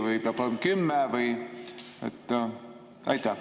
Või peab olema 10% või ...?